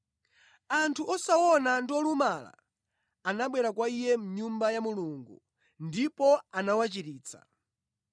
Anthu osaona ndi olumala anabwera kwa Iye mʼNyumba ya Mulungu ndipo anawachiritsa.